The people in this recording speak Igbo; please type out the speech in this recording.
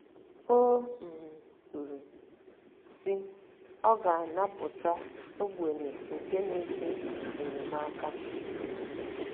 O um kwuru, sị: “ Ọ ga - anapụta ogbenye nke na - eti mkpu enyemaka um...